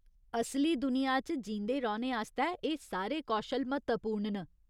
असली दुनिया च जींदे रौह्‌ने आस्तै एह् सारे कौशल म्हत्तवपूर्ण न।